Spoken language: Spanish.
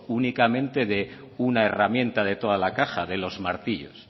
únicamente de una herramienta de toda la caja de los martillos